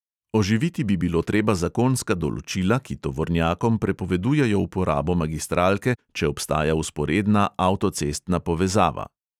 Oživiti bi bilo treba zakonska določila, ki tovornjakom prepovedujejo uporabo magistralke, če obstaja vzporedna avtocestna povezava.